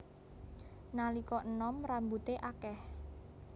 Nalika enom rambuté akèh